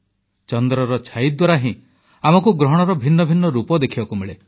ଚନ୍ଦ୍ରର ଛାଇ ଦ୍ୱାରା ହିଁ ଆମକୁ ଗ୍ରହଣର ଭିନ୍ନ ଭିନ୍ନ ରୂପ ଦେଖିବାକୁ ମିଳେ